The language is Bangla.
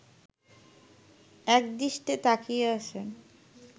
একদৃষ্টে তাকিয়ে আছে